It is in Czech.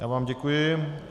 Já vám děkuji.